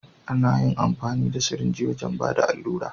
Ana yin amfani da sirinji wajen Bada alura.